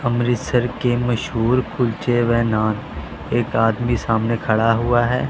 अमृतसर के मशहूर कुलचे व नान एक आदमी सामने खड़ा हुआ है।